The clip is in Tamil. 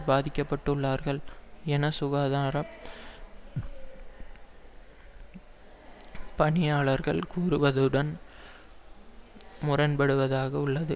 பாதிக்கப்பட்டுள்ளார்கள் என சுகாதார பணியாளர்கள் கூறுவதுடன் முரண்படுவதாக உள்ளது